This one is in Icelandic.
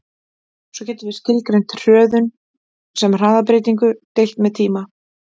Svo getum við skilgreint hröðun sem hraðabreytingu deilt með tíma.